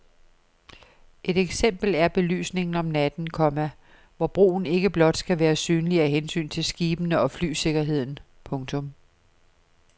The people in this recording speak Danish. Et eksempel er belysningen om natten, komma hvor broen ikke blot skal være synlig af hensyn til skibene og flysikkerheden. punktum